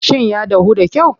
Shin ya dahu da kyau?